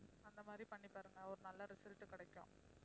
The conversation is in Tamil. அந்த மாதிரி பண்ணி பாருங்க ஒரு நல்ல result கிடைக்கும்